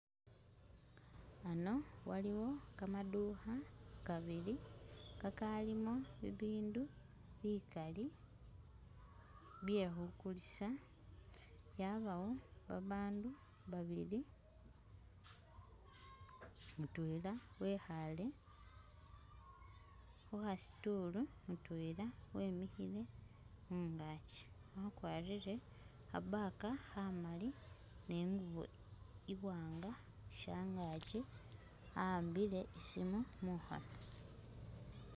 Ano waliwo kamadukha kabili kakalimo bibindu bikali byekhukulisa, yabawo babaandu babili mutwela wekhale khukha stool mutwela wemikhile khungakyi wakwarire kha bag khamali ni ingubo iwanga shangakyi awaambile isimi mukhono .